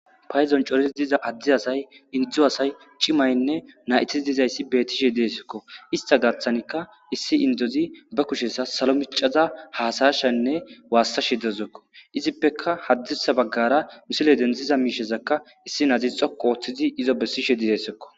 Paydon corid diza Ade asay , Indo asay, cimayne nayti dizaysi betishe de'esko. Ista gathanka issi indozi ba kusheza salo micada hasa'ishenne wasashe dawusko. Izippeka hadirsa bagara misile denthiza mishazaka issinazi xoqu othid izo besishe desko.